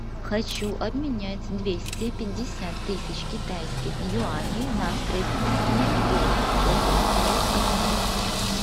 хочу обменять двести пятьдесят тысяч китайских юаней на австралийские доллары сколько стоит обмен